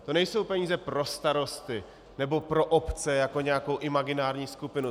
To nejsou peníze pro starosty nebo pro obce jako nějakou imaginární skupinu.